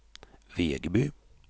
Vegby